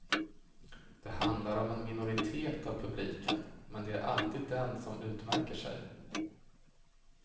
Det handlar om en minoritet av publiken, men det är alltid den som utmärker sig.